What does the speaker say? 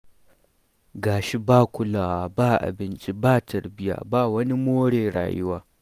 Ga shi ba kulawa ba abinci ba tarbiyya ba wani more rayuwa.